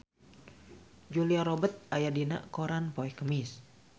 Julia Robert aya dina koran poe Kemis